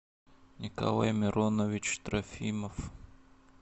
николай миронович трофимов